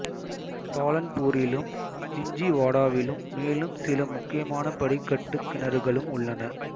பாலன்பூரிலும் ஜின்ஜுவாடாவிலும் மேலும் சில முக்கியமான படிக்கட்டுக் கிணறுகளும் உள்ளன